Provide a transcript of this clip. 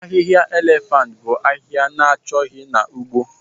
Ahịhịa elephant bụ ahịhịa na-achọghị na ugbo